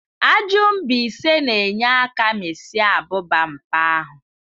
Ajụ mbaise na enye aka mịsịa abụba npa ahu.